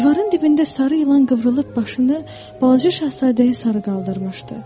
Divarın dibində sarı ilan qıvrılıb başını balaca şahzadəyə sarı qaldırmışdı.